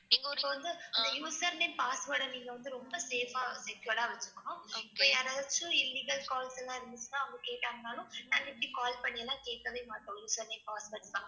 இந்த username, password அ நீங்க வந்து ரொம்ப safe ஆ secured ஆ வச்சுக்கணும். இப்ப யாராச்சும் illegal calls எல்லாம் இருந்துச்சுன்னா அவங்க கேட்டாங்கனாலும் நாங்க இப்படி call பண்ணி எல்லாம் கேட்கவே மாட்டோம் username, password எல்லாம்.